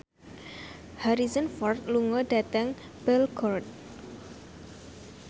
Harrison Ford lunga dhateng Belgorod